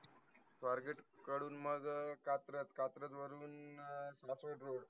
स्वारगेट कडून मग कात्रज, कात्रज वरुण अह सासवड road